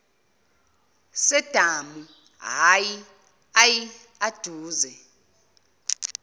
sedamu ayi aduze